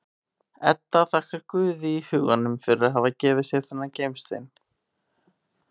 Edda þakkar Guði í huganum fyrir að hafa gefið sér þennan gimstein.